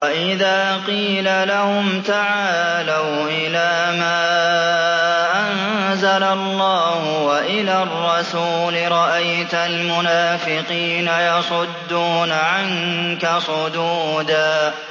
وَإِذَا قِيلَ لَهُمْ تَعَالَوْا إِلَىٰ مَا أَنزَلَ اللَّهُ وَإِلَى الرَّسُولِ رَأَيْتَ الْمُنَافِقِينَ يَصُدُّونَ عَنكَ صُدُودًا